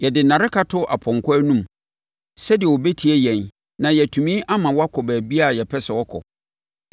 Yɛde nnareka to ɔpɔnkɔ anom sɛdeɛ ɔbɛtie yɛn na yɛatumi ama wakɔ baabiara a yɛpɛ sɛ ɔkɔ.